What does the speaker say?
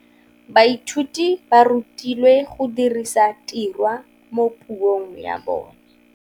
Baithuti ba rutilwe go dirisa tirwa mo puong ya bone.